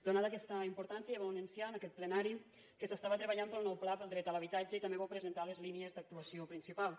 donada aquesta importància ja vau anunciar en aquest plenari que s’estava treballant pel nou pla per al dret a l’habitatge i també vau presentar les línies d’actuació principals